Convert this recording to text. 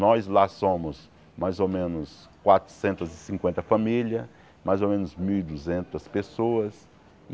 Nós lá somos mais ou menos quatrocentas e cinquenta famílias, mais ou menos mil e duzentas pessoas.